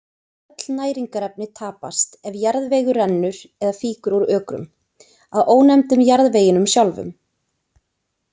Öll næringarefni tapast ef jarðvegur rennur eða fýkur úr ökrum, að ónefndum jarðveginum sjálfum.